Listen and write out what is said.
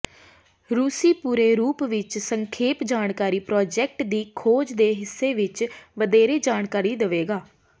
ਰੂਸੀ ਪੂਰੇ ਰੂਪ ਵਿੱਚ ਸੰਖੇਪ ਜਾਣਕਾਰੀ ਪ੍ਰਾਜੈਕਟ ਦੀ ਖੋਜ ਦੇ ਹਿੱਸੇ ਵਿੱਚ ਵਧੇਰੇ ਜਾਣਕਾਰੀ ਦੇਵੇਗਾ